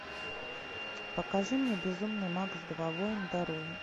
покажи мне безумный макс два воин дороги